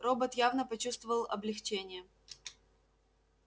робот явно почувствовал облегчение